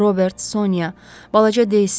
Robert, Sonya, balaca Desi.